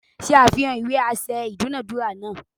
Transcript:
Ṣe àfihàn ìwé aṣẹ idunadura náà.!